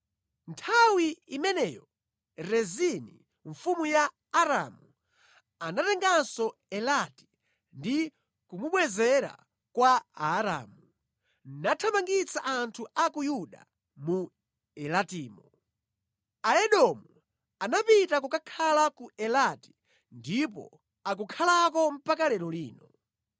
Nthawi imeneyo Rezini mfumu ya Aramu anatenganso Elati ndi kumubwezera kwa Aaramu, nathamangitsa anthu a ku Yuda mu Elatimo. Aedomu anapita kukakhala ku Elati ndipo akukhalako mpaka lero lino.